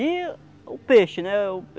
E o peixe, né?